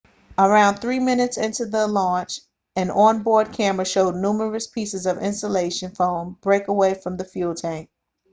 around 3 minutes into the launch an on-board camera showed numerous pieces of insulation foam break away from the fuel tank